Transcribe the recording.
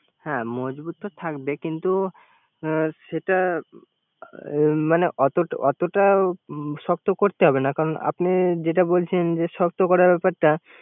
হ্যা মজবুত তো থাকবে। কিন্তু সেটা মানে অতটা শক্ত করতে হবে না। কারন যাতে বলছে শক্ত করা ব্যাপারটা